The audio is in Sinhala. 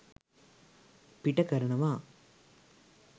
පිට කරනවා.